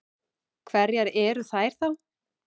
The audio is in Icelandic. Hverjar eru þær þá?